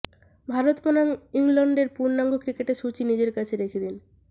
ভারত বনাম ইংল্যান্ডের পূর্ণাঙ্গ ক্রিকেট সূচি নিজের কাছে রেখে দিন